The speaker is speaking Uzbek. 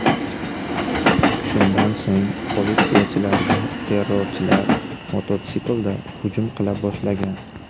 Shundan so‘ng politsiyachilarga terrorchilar mototsiklda hujum qila boshlagan.